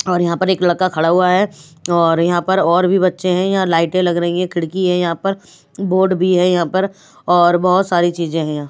और यहाँ पर एक लड़का खड़ा हुआ है और यहाँ पर और भी बच्चे हैं यहाँ लाइटें लग रही है खिड़की है यहाँ पर बोर्ड भी है यहाँ पर और बहुत सारी चीजें हैं यहाँ।